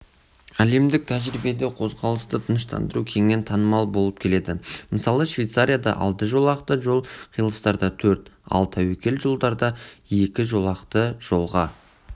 әлемдік тәжірибеде қозғалысты тыныштандыру кеңінен танымал болып келеді мысалы швейцарияда алты жолақты жол қиылыстарда төрт ал тәуекел жерлерде екі жолақты жолға